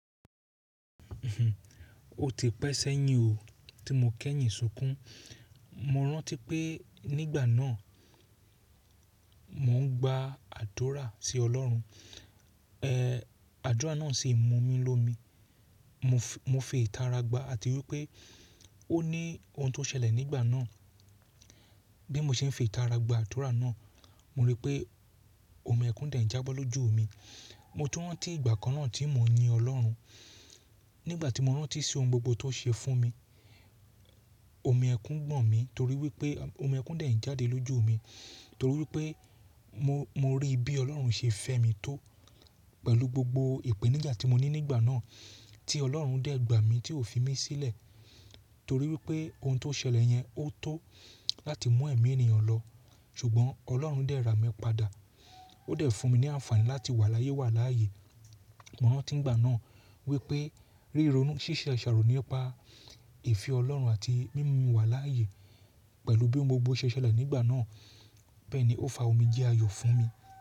O ti pẹ́sẹ́ yín o, tí mo kẹ́yìn sùkún. Mo rántí pé nígbà náà, mò ń gba àdurà sí Ọlọ́run, ẹ, àdurà náà sì mú mi lómi, mo fi itàrí gba àti wí pé ó ní ohun tó ṣẹlẹ̀ nígbà náà. Bí mo ṣe ń fi itàrí agba àdurà náà, mo ri pé òmìẹ́kún dẹ̀ n jábọ́ lójú mi, mo tú rántí ìgbà kan náà tí mò ń yin Ọlọ́run. Nígbà tí mo rántí sí ohun gbogbo tó ṣe fún mi, òmì ẹ́kún ń gbọ̀n mi torí pé òmì ẹ́kún dẹ̀ ń jáde lójú mi, torí pé mo ri i bí Ọlọ́run ṣe fẹ́ mi tó pẹ̀lú gbogbo ìpẹ̀níja tí mo ní nígbà náà, tí Ọlọ́run dẹ̀ gbà mí tí ò fi mí sílẹ̀ torí pé ohun tó ṣẹlẹ̀ yẹn, ó tó láti mú ẹ̀mi ènìyàn lọ, ṣùgbọ́n Ọlọ́run dẹ̀ rà mí padà, ó dẹ̀ fún mi ní àǹfààní láti wà láyé wà láàyè. Mo rántí ìgbà náà, wí pé ríronú, ṣíṣẹ́ aqṣàrò nípa èfí Ọlọ́run àti mímú wà láàyè, pẹ̀lú bí ohun gbogbo ṣẹ ṣẹlẹ̀ nígbà náà, bẹ́ẹ̀ ni ó fa omi jẹ́ ayọ̀ fún mi.